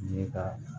Ye ka